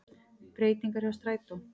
Breytingar hjá strætó